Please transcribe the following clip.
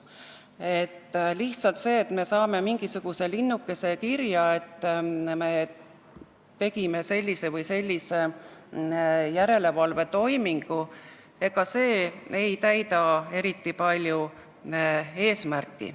See, et me saame lihtsalt mingisuguse linnukese kirja, et me tegime sellise või sellise järelevalvetoimingu, eesmärki eriti palju ei täida.